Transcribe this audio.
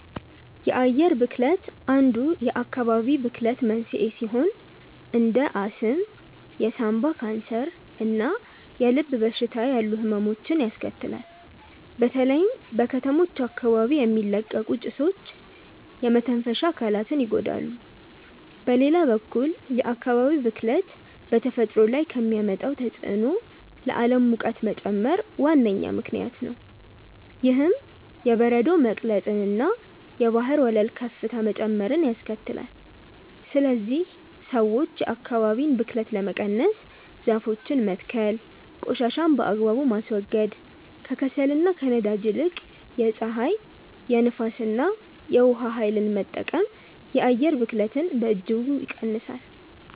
የአየር ብክለት አንዱ የአካባቢ ብክለት መንስኤ ሲሆን እንደ አስም፣ የሳምባ ካንሰር እና የልብ በሽታ ያሉ ህመሞችን ያስከትላል። በተለይም በከተሞች አካባቢ የሚለቀቁ ጭሶች የመተንፈሻ አካላትን ይጎዳሉ። በሌላ በኩል የአካባቢ ብክለት በተፈጥሮ ላይ ከሚያመጣው ተጽዕኖ ለዓለም ሙቀት መጨመር ዋነኛ ምክንያት ነው። ይህም የበረዶ መቅለጥንና የባህር ወለል ከፍታ መጨመርን ያስከትላል። ስለዚህ ሰዎች የአካባቢን ብክለት ለመቀነስ ዛፎችን መትከል ቆሻሻን በአግባቡ ማስወገድ፣ ከከሰልና ከነዳጅ ይልቅ የፀሐይ፣ የንፋስ እና የውሃ ኃይልን መጠቀም የአየር ብክለትን በእጅጉ ይቀንሳል።